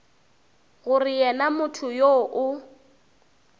gore yena motho yoo o